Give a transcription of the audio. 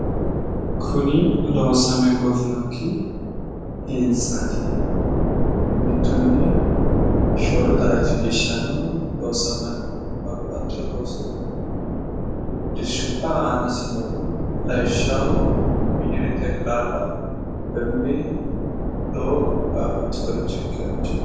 Kuni loosame goofinokki hintsaati. Mittunni shoolu daraji geeshshano loosamanni no. Babbaxxiwo loosi dirshubba aanasi no. Lawishshaho wineri xeqilaalla emmi doo babbaxxiworicho ikkiworichooti.